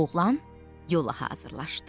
Oğlan yola hazırlaşdı.